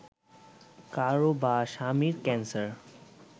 কারও বা স্বামীর ক্যানসার